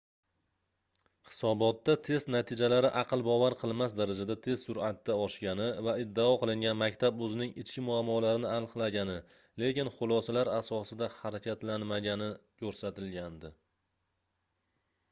hisobotda test natijalari aql bovar qilmas darajada tez surʼatda oshgani va iddao qilingan maktab oʻzining ichki muammolarini aniqlagani lekin xulosalar asosida harakatlanmagani koʻrsatilgandi